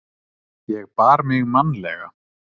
Ég bar mig mannalega.